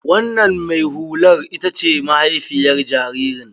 Wannan mai hulan ita ce mahaifiyar jaririn.